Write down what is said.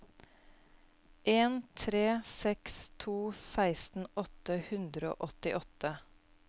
en tre seks to seksten åtte hundre og åttiåtte